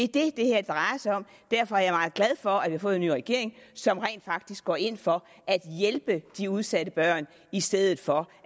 det det her drejer sig om derfor er jeg meget glad for at vi har fået en ny regering som rent faktisk går ind for at hjælpe de udsatte børn i stedet for